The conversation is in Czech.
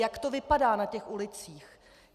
Jak to vypadá na těch ulicích?